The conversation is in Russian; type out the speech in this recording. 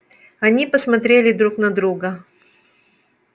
они посмотрели друг на друга